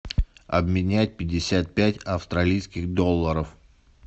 обменять пятьдесят пять австралийских долларов